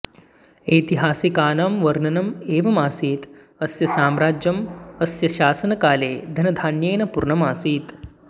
ऐतिहासिकानं वर्णनम् एवमासीत् अस्य साम्राज्यम् अस्य शासनकाले धनधान्येन पूर्णम् आसीत्